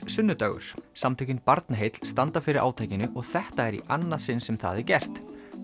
sunnudagur samtökin Barnaheill standa fyrir átakinu og þetta er í annað sinn sem það er gert